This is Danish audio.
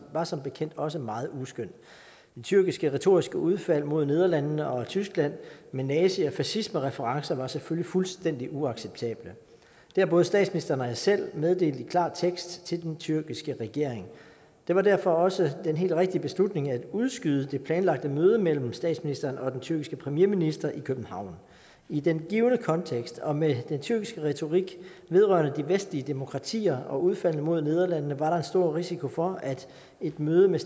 var som bekendt også meget uskøn det tyrkiske retoriske udfald mod nederlandene og tyskland med nazi og fascismereferencer var selvfølgelig fuldstændig uacceptable det har både statsministeren og jeg selv meddelt i klar tekst til den tyrkiske regering det var derfor også den helt rigtige beslutning at udskyde det planlagte møde mellem statsministeren og den tyrkiske premierminister i københavn i den givne kontekst og med den tyrkiske retorik vedrørende de vestlige demokratier og udfaldene mod nederlandene var der en stor risiko for at et møde med